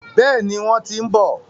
Bẹ́ẹ̀ni, wọ́n ti ń bọ̀.